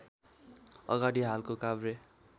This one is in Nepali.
अगाडि हालको काभ्रे